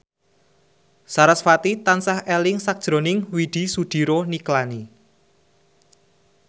sarasvati tansah eling sakjroning Widy Soediro Nichlany